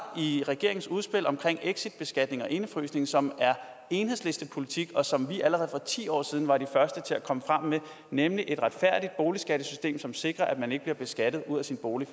i regeringens udspil om exitbeskatning og indefrysning som er enhedslistepolitik og som vi allerede for ti år siden var de første til at komme frem med nemlig et retfærdigt boligskattesystem som sikrer at man ikke bliver beskattet ud af sin bolig